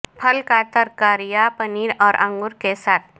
پھل کا ترکاریاں پنیر اور انگور کے ساتھ